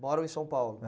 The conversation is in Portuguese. Moram em São Paulo? É.